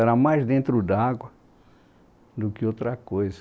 Era mais dentro d'água do que outra coisa.